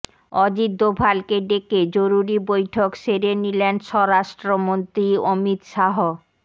অজিত দোভালকে ডেকে জরুরী বৈঠক সেরে নিলেন স্বরাষ্ট্রমন্ত্রী অমিত শাহ